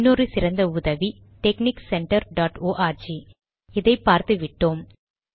இன்னொரு சிறந்த உதவி டெக்ஸ்னிக் சென்டர் டாட் ஆர்க் இதை பார்த்துவிட்டோம்